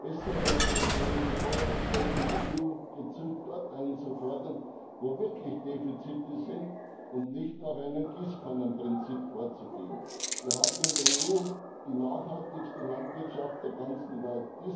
Besser wäre es gewesen, Vorrangflächen in der EU gezielt dort einzufordern, wo wirklich Defizite sind, und nicht nach einem Gießkannenprinzip vorzugehen. Wir haben in der EU die nachhaltigste Landwirtschaft der ganzen Welt.